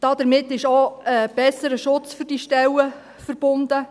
Damit ist auch ein besserer Schutz für diese Stellen verbunden.